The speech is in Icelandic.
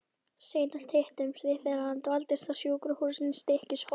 Seinast hittumst við þegar hann dvaldist á sjúkrahúsinu í Stykkishólmi.